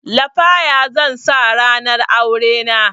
Lafaya zan sa ranar aurena